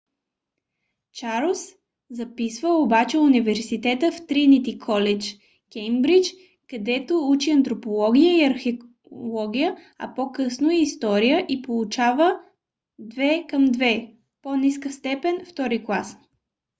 чарлз записва обаче университета в тринити колидж кеймбридж където учи антропология и археология а по-късно и история и получава 2:2 по-ниска степен втори клас